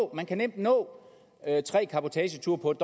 man kan nemt nå tre cabotageture på